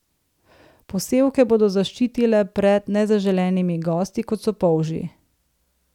Posevke bodo zaščitile pred nezaželenimi gosti, kot so polži.